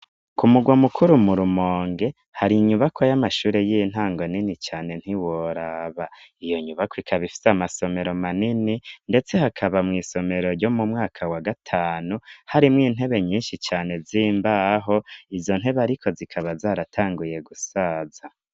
Ku mugwa mukuru murumonge, hari inyubako y'amashuri y'intango nini cane ntiworaba ,iyo nyubako ikaba ifise amasomero manini, ndetse hakaba mw' isomero ryo mu mwaka wa gatanu, harimwo intebe nyinshi cane zimbaho, izo ntebe ariko zikaba zaratanguye gusaza.